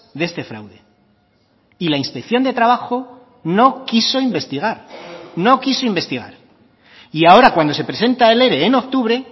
de este fraude y la inspección de trabajo no quiso investigar no quiso investigar y ahora cuando se presenta el ere en octubre